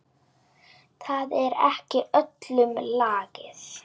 Það er ekki öllum lagið.